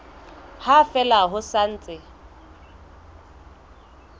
ha fela ho sa ntse